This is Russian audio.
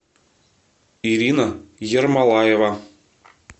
ирина ермолаева